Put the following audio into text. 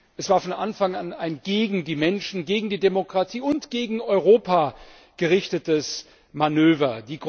Es war von Anfang an ein gegen die Menschen, gegen die Demokratie und gegen Europa gerichtetes Manöver.